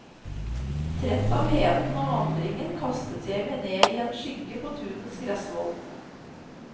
Trett av heten og vandringen kastet jeg meg ned i en skygge på tunets gressvoll.